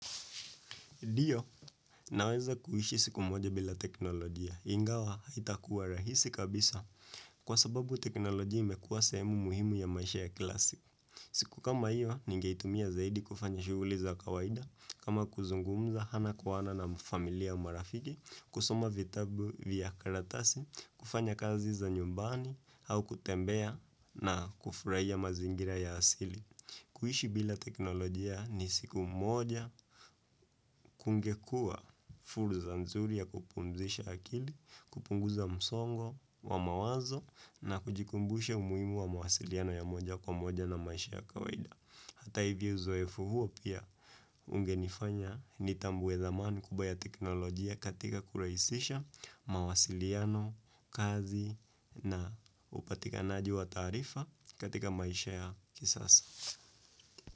Ndio, naweza kuishi siku moja bila teknolojia. Ingawa, haitakuwa rahisi kabisa kwa sababu teknolojia imekuwa sehemu muhimu ya maisha ya kila siku. Siku kama hiyo, ningeitumia zaidi kufanya shughuli za kawaida. Kama kuzungumza, ana kwa ana na familia marafiki, kusoma vitabu via karatasi, kufanya kazi za nyumbani, au kutembea na kufurahia mazingira ya asili. Kuishi bila teknolojia ni siku moja kungekuwa fursa nzuri ya kupumzisha akili, kupunguza msongo wa mawazo na kujikumbusha umuhimu wa mawasiliano ya moja kwa moja na maisha ya kawaida. Hata hivyo uzoefu huo pia ungenifanya ni tambue dhamani kubwa teknolojia katika kurahisisha mawasiliano, kazi na upatikanaji wa taarifa katika maisha ya kisasa.